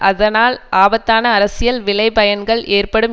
அதனால் ஆபத்தான அரசியல் விளைபயன்கள் ஏற்படும்